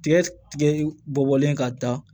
Tigɛ tigɛ bɔ bɔlen ka taa